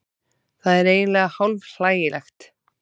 Það er eiginlega hálf hlægilegt